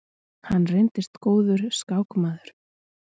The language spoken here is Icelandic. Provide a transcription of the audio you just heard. Hann reyndist góður skákmaður.